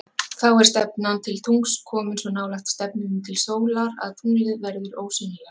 Þá er stefnan til tungls komin svo nálægt stefnunni til sólar að tunglið verður ósýnilegt.